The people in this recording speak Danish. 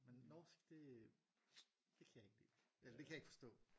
Men norsk det det kan jeg ikke lide eller det kan jeg ikke forstå